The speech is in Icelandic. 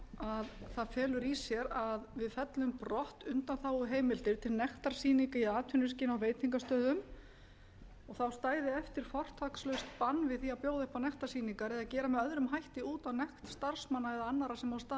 frumvarp felur í sér að við fellum brott undanþáguheimildir til nektarsýninga í atvinnuskyni á veitingastöðum og þá stæði eftir fortakslaust bann við því að bjóða upp á nektarsýningar eða gera með öðrum hætti út á nekt starfsmanna eða annarra sem á staðnum